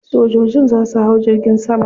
Sojojin za su hau jirgin sama.